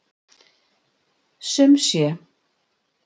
Sum sé.